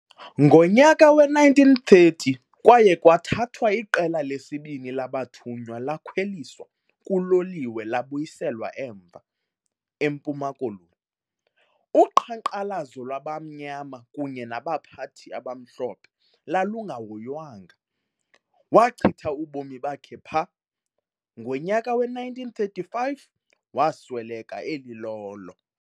Ngonyaka we-1930 kwaye kwathathwa iqela lesibini labathunywa lakhwelisa kuloliwe labuyiselwa emva, eMpuma Koloni. Uqhankqalazo lwabamnyama kunye nabaphathi abamhlophe lwalungahoywanga, wachitha ubomi bakhe pha, ngonyaka we-1935 wasweleka elilolo.